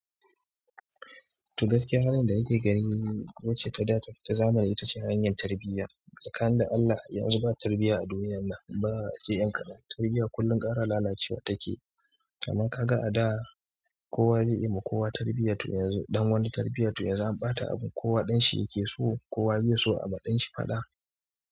To gaskiya halin da nake gani. Wacce ta da ta zamani ita ce hanyar tarbiyya. Tsakanin da Allah yanxu ba tarbiyya a duniyan nan ba sai yan kaɗan tarbiyya kullum ƙara lalacewa take. Amma ka ga a da kowa zai iya ma kowa tarbiyya to yanzu dan wani tarbiyya to yanzu an ɓata abun kowa ɗan shi yake so. Kowa bai so a ma ɗan shi faɗa.